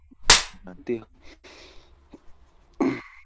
ঘাটতি .